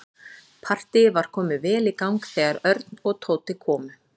Partíið var komið vel í gang þegar Örn og Tóti komu.